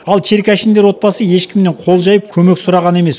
ал черкашиндер отбасы ешкімнен қол жайып көмек сұраған емес